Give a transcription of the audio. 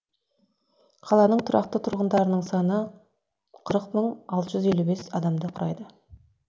қаланың тұрақты тұрғындарының саны қырық мың алты жүз елу бес адамды құрайды